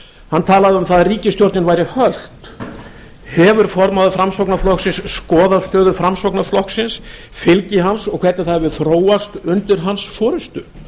hann talaði um að ríkisstjórnin væri hölt hefur formaður framsóknarflokksins skoðað stöðu framsóknarflokksins fylgi hans og hvernig það hefur þróast undir hans forustu